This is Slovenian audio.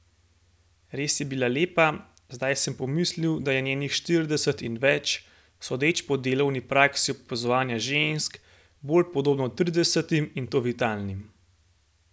Res je bila lepa, zdaj sem pomislil, da je njenih štirideset in več, sodeč po delovni praksi opazovanja žensk, bolj podobno tridesetim in to vitalnim.